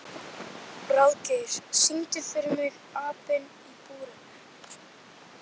Ráðgeir, syngdu fyrir mig „Apinn í búrinu“.